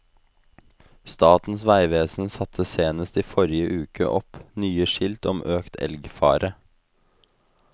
Statens vegvesen satte senest i forrige uke opp nye skilt om økt elgfare.